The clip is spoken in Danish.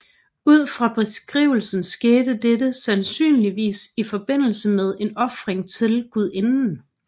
Ud fra beskrivelsen skete dette sandsynligvis i forbindelse med en ofring til guidinden